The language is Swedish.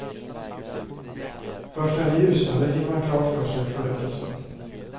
Först när det ljusnade fick man klart för sig förödelsen.